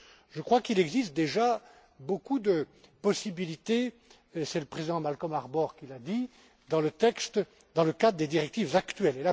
Je crois qu'il existe déjà beaucoup de possibilités et c'est le président Malcolm Harbour qui l'a dit dans le cadre des directives actuelles.